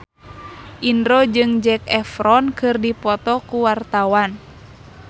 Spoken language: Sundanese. Indro jeung Zac Efron keur dipoto ku wartawan